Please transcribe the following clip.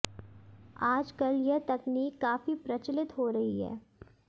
आज कल यह तकनीक काफी प्रचलित हो रही है